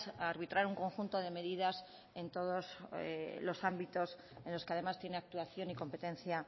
a arbitrar un conjunto de medidas en todos los ámbitos en los que además tiene actuación y competencia